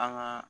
An ka